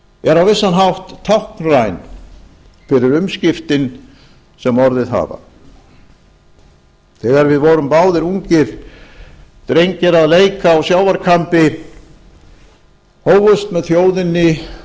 er á vissan hátt táknræn fyrir umskiptin sem orðið hafa þegar við vorum báðir ungir drengir að leik á sjávarkambi hófust með þjóðinni